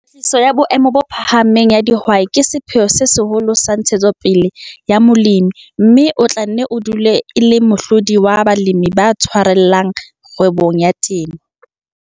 Kwetliso ya boemo bo phahameng ya dihwai ke sepheo se seholo sa ntshetsopele ya molemi, mme e tla nne e dule e le mohlodi wa balemi ba tshwarellang kgwebong ya temo.